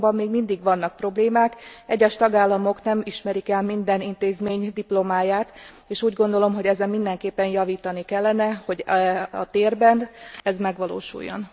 Azonban még mindig vannak problémák, egyes tagállamok nem ismerik el minden intézmény diplomáját, és úgy gondolom, hogy ezen mindenképpen javítani kellene, hogy a térben ez megvalósuljon.